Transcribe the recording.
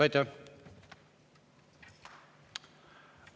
Aitäh!